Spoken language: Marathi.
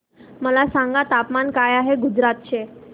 मला सांगा तापमान काय आहे गुजरात चे